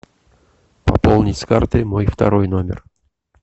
пополнить с карты мой второй номер